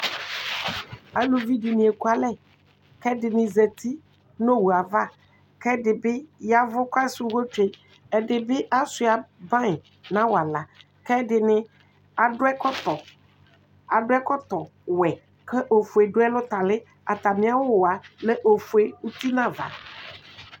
Aluvidíni ekualɛ ɛdini zati nu owu ava ɛdi yavu ku asɛ uwɔ tsue ɛdi bi ashua awu nu awala ɛdini adu ɛkɔtɔ ɔwɛ ku ofue du ɛlu tali atami awu lɛ ofue uti nava